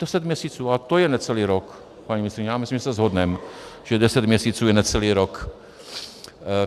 Deset měsíců a to je necelý rok, paní ministryně, já myslím, že se shodneme, že deset měsíců je necelý rok.